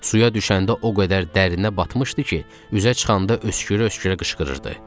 Suya düşəndə o qədər dərinə batmışdı ki, üzə çıxanda öskürə-öskürə qışqırırdı.